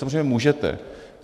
Samozřejmě můžete.